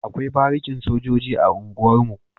Akwai barikin sojoji a unguwar mu